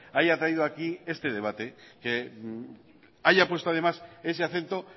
haya traído aquí este debate que haya puesto además ese acento